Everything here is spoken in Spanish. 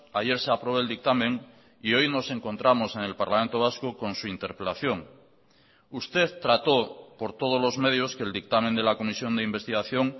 ayer se aprobó el dictamen y hoy nos encontramos en el parlamento vasco con su interpelación usted trató por todos los medios que el dictamen de la comisión de investigación